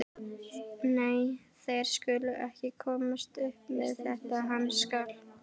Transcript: Nei, þeir skulu ekki komast upp með þetta, hann skal.